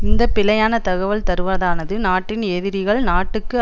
இந்த பிழையான தகவல் தருவதானது நாட்டின் எதிரிகள் நாட்டுக்கு